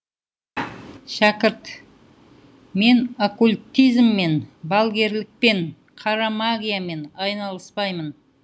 шәкірт мен оккултизммен балгерлікпен қара магиямен айналыспаймын